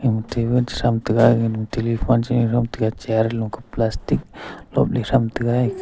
in table sam tega telephone che ngan tega chea anto plastic lop lik sam tega.